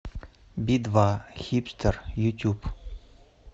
би два хипстер ютуб